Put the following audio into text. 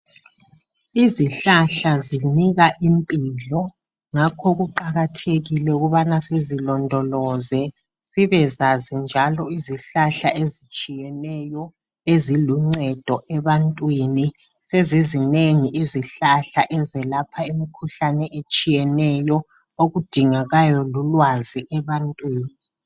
Izihlahla zinika impilo ngakho kuqakathekile ukubana sizilondoloze. Sibezazi njalo izihlahla ezitshiyeneyo, eziluncedo ebantwini. Sezizinengi izihlahla bezelapha imikhuhlane etshiyeneyo, okudingekayo lulwazi ebantwini.